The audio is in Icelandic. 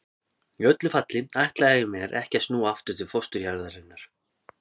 Í öllu falli ætlaði ég mér ekki að snúa aftur til fósturjarðarinnar.